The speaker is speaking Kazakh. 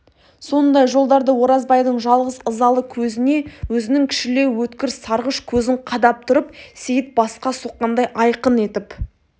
сондай жолдарды оразбайдың жалғыз ызалы көзіне өзінің кішілеу өткір сарғыш көзін қадап тұрып сейіт басқа соққандай айқын етіп